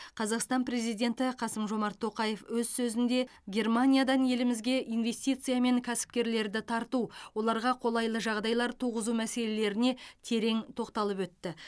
қазақстан президенті қасым жомарт тоқаев өз сөзінде германиядан елімізге инвестиция мен кәсіпкерлерді тарту оларға қолайлы жағдайлар туғызу мәселеріне терең тоқталып өтті